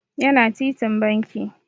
Yana titin banki.